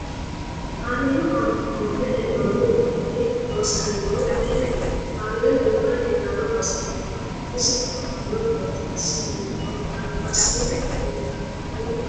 Kameelu aana hogonbe heenooni uduuni loosaminohu mayiiniiti kaameelu uure leelanno base hiitoote isi afamanno qoxeesi hiitooho albasiini leeltano muro uyiitanno horo maat